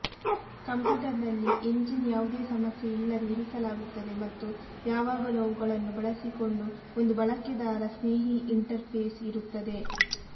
ಕಂಪ್ಯೂಟರ್ನಲ್ಲಿ ಎಂಜಿನ್ ಯಾವುದೇ ಸಮಸ್ಯೆ ಇಲ್ಲದೆ ಇರಿಸಲಾಗುತ್ತದೆ ಮತ್ತು ಯಾವಾಗಲೂ ಅವುಗಳನ್ನು ಬಳಸಿಕೊಂಡು ಒಂದು ಬಳಕೆದಾರ ಸ್ನೇಹಿ ಇಂಟರ್ಫೇಸ್ ಇರುತ್ತದೆ